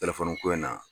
Telefɔni ko in na